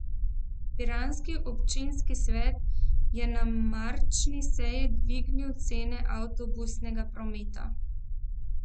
Piranski občinski svet je na marčni seji dvignil cene avtobusnega prometa.